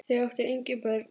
Þau áttu engin börn.